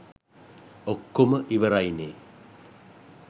ඔක්කොම ඉවරයිනේ.